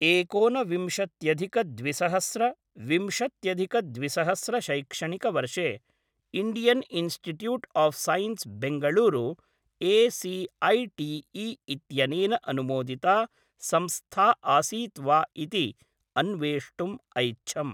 एकोन विंशत्यधिक द्विसहस्र विंशत्यधिक द्विसहस्र शैक्षणिकवर्षे Indian institute of science Bengaluru AICTE. इत्यनेन अनुमोदिता संस्था आसीत् वा इति अन्वेष्टुम् ऐच्छम्।